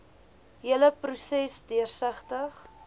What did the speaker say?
hele proses deursigtig